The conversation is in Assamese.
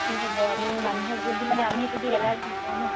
কি কি হ'ব আমি মানুহক যদি মানে আমি যদি alert নকৰো ন